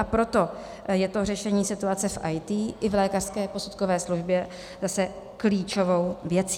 A proto je to řešení situace v IT i v lékařské posudkové službě zase klíčovou věcí.